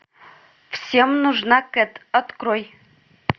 всем нужна кэт открой